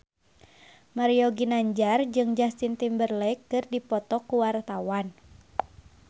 Mario Ginanjar jeung Justin Timberlake keur dipoto ku wartawan